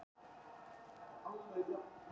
Stundum eru rúmin þó þrjú, sjaldan fleiri.